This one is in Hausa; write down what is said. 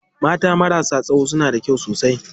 Mata marasa tsayo suna da kyau sosai.